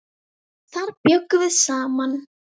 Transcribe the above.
Þar bjuggum við saman.